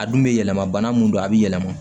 A dun bɛ yɛlɛma bana min don a bɛ yɛlɛma